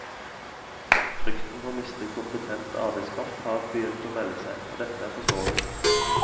Frykten for å miste kompetent arbeidskraft har begynt å melde seg, og dette er forståelig.